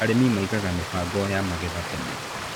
Arĩmi maigaga mĩbango ya magetha tene.